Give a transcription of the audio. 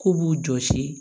K'u b'u jɔsi